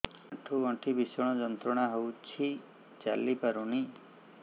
ଆଣ୍ଠୁ ଗଣ୍ଠି ଭିଷଣ ଯନ୍ତ୍ରଣା ହଉଛି ଚାଲି ପାରୁନି